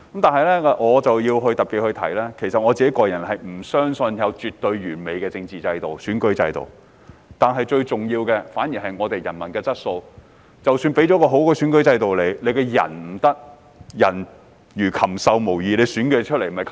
但是，我要特別指出，我不相信有絕對完美的政治制度和選舉制度，最重要的反而是人民的質素，因為即使有很好的選舉制度，但人民的質素不好也不行。